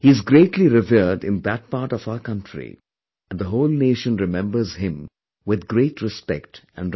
He is greatly revered in that part of our country and the whole nation remembers him with great respect and regard